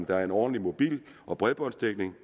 der er en ordentlig mobil og bredbåndsdækning